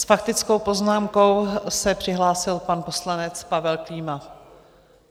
S faktickou poznámkou se přihlásil pan poslanec Pavel Klíma.